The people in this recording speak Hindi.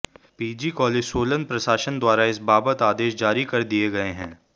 पीजी कालेज सोलन प्रशासन द्वारा इस बाबत आदेश जारी कर दिए गए हैं